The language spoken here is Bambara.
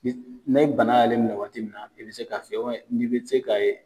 Ni bana y'ale minɛ waati min na, i be se k'a fiyɛ n'i be se k'a ye.